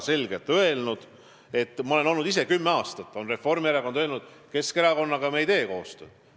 Reformierakond on kümme aastat öelnud, et nad ei tee Keskerakonnaga koostööd.